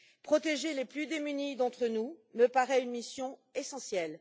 Protéger les plus démunis d'entre nous me paraît une mission essentielle.